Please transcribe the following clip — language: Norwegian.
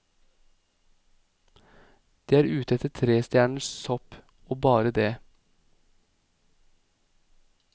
De er ute etter tre stjerners sopp, og bare det.